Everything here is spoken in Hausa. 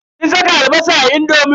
Kin saka albasa a indomin?